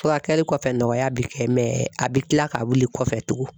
Furakɛli kɔfɛ nɔgɔya bɛ kɛ mɛ a bɛ kila ka wili kɔfɛ tuguni